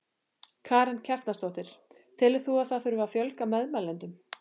Karen Kjartansdóttir: Telur þú að það þurfi að fjölga meðmælendum?